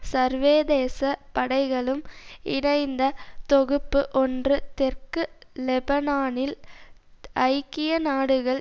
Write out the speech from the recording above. சர்வேதேச படைகளும் இணைந்த தொகுப்பு ஒன்று தெற்கு லெபனானில் ஐக்கியநாடுகள்